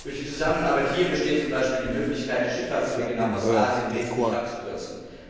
Durch die Zusammenarbeit hier besteht zum Beispiel die Möglichkeit, die Schifffahrtswege nach Ostasien wesentlich abzukürzen.